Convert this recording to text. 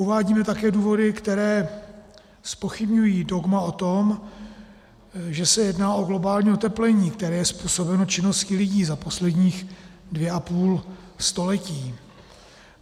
Uvádíme také důvody, které zpochybňují dogma o tom, že se jedná o globální oteplení, které je způsobeno činností lidí za poslední dvě a půl století.